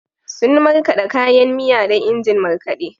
Sun markaɗa kayan miya da injin markaɗe.